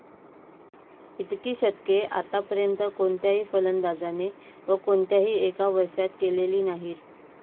इतकी शतके आत्तापर्यंत कोणत्याही फलंदाजाने व कोणत्याही एका वर्षात केलेली नाहीत.